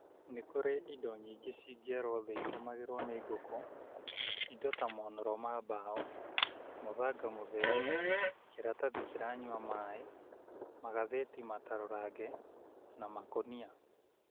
Nĩ kũrĩ indo nyingĩ cingĩarwo thĩ ikomagĩrwo nĩ ngũkũ, indo ta monũro ma mbaũ, mũthanga mũtheru, kĩratathi kĩranyua maaĩ, magathĩti matarũrange na makũnia.